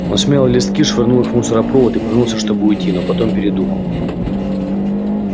он смял листки швырнул их в мусоропровод и повернулся чтобы уйти но потом передумал